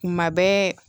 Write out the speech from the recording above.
Kuma bɛɛ